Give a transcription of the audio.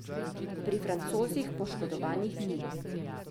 Pri Francozih poškodovanih ni.